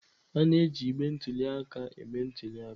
A na-eji igbe ntụli aka eme ntuli aka.